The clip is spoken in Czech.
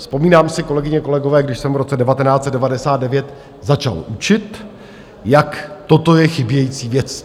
Vzpomínám si, kolegyně, kolegové, když jsem v roce 1999 začal učit, jak toto je chybějící věc.